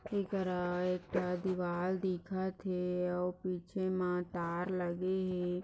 एकरा एक दीवार दिखत है और पीछे मा तार लगे है।